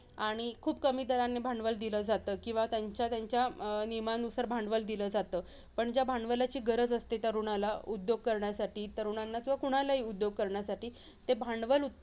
आणि खूप कमी दराने भांडवल दिलं जातं किंवा त्यांच्या त्यांच्या अं नियमानुसार भांडवल दिल जातं. पण ज्या भांडवलाची गरज असते, तरुणाला उद्योग करण्यासाठी तरुणांना किंवा कुणालाही उद्योग करण्यासाठी, ते भांडवल